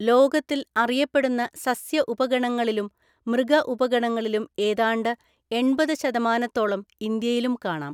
ലോകത്തിൽ അറിയപ്പെടുന്ന സസ്യ ഉപഗണങ്ങളിലും മൃഗഉപഗണങ്ങളിലും ഏതാണ്ട് എണ്‍പത് ശതമാനത്തോളം ഇന്ത്യയിലും കാണാം.